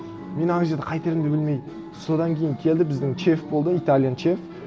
мен ана жерде қайтерімді білмей содан кейін келді біздің чеф болды италиан чеф